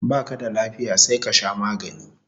Baka da lafiya sai ka sha magani